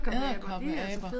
Edderkoppeaber